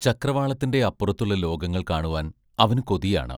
ചക്രവാളത്തിന്റെ അപ്പുറത്തുള്ള ലോകങ്ങൾ കാണുവാൻ അവനു കൊതിയാണ്.